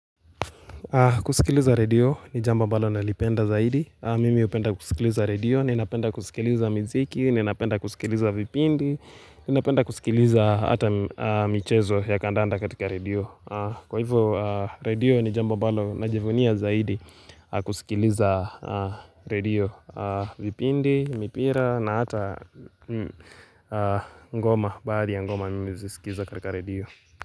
Kusikiliza radio ni jambo ambalo na lipenda zaidi Mimi upenda kusikiliza radio, ninapenda kusikiliza miziki, ninapenda kusikiliza vipindi Ninapenda kusikiliza hata michezo ya kandanda katika radio Kwa hivyo radio ni jambo ambalo na jivunia zaidi kusikiliza radio vipindi, mipira na hata ngoma bahari ya ngoma nime zisikiza katika radio.